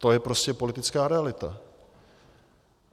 To je prostě politická realita.